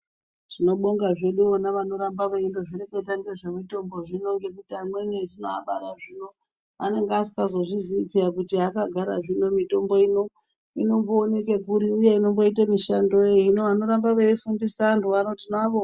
Tinobonga vona vanotamba vezngoreketa ngezvemitombo zvino ngekuti vamweni vanenge vasingazozvizii kuti akara zvino mitombo inombooneka kuri uye inomboita mishando wei hino vafundisa anhu vano tinavo....